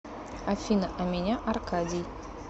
афина а меня аркадий